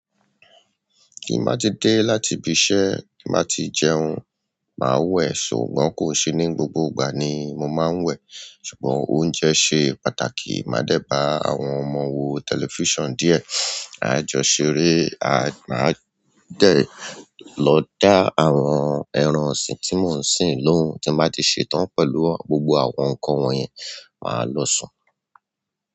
Kí n má tí dé láti ibi iṣẹ́, kí n má tí jẹun, màá wẹ̀, ṣùgbọ́n kò ṣe ní gbogbo ìgbà ni mo máa ń wẹ̀. Ṣùgbọ́n oúnjẹ ṣe pàtàkì. Màá dẹ̀ ba àwọn ọmọ wo tẹlifíṣàn díẹ̀. Máa jọ ṣeré, à máà dẹ̀ lọ dá àwọn ẹran ọ̀sìn tí mò ń sìn lóhùn. Tin ba ti ṣetan pẹ̀lú gbogbo àwọn nkán wọn yẹn máa lọ sùn.